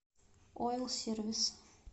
ойл сервис